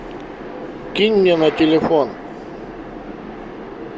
кинь мне на телефон